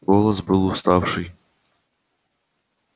голос был уставший